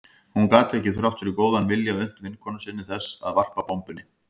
Hún gat ekki, þrátt fyrir góðan vilja, unnt vinnukonu sinni þess að varpa bombunni.